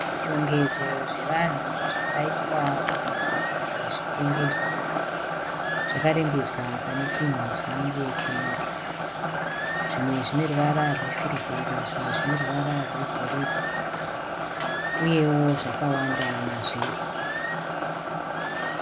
Zvishongedzo zvevanhu zvakaiswa pachena kuti zvitengeswe. Zvakarembedzwa pane chinhu chinenge chimuti. Zvimwe zvine ruvara rwesirivheri zvimwe zvine ruvara rwegoridhe uyewo zvakawanda mazviri.